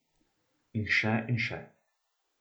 In še in še.